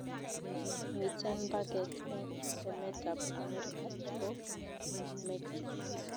Miten mpaket eng emetab America ago mexico